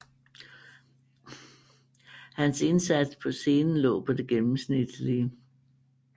Hans indsats på scenen lå på det gennemsnitlige